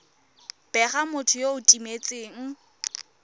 bega motho yo o timetseng